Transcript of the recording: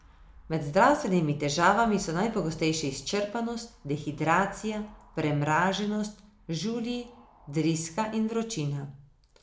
Med zdravstvenimi težavami so najpogostejše izčrpanost, dehidracija, premraženost, žulji, driska in vročina.